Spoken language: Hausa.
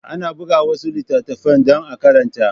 Ana buga wasu littattafan dan a karanta